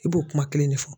I b'o kuma kelen de fɔ